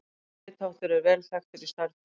Þessi ritháttur er vel þekktur í stærðfræði.